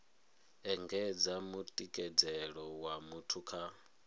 engedza mutikedzelo wa muthu kha